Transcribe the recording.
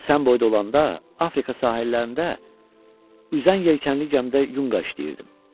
Mən sənin boyda olanda Afrika sahillərində üzən yelkənli gəmidə yunqa işləyirdim.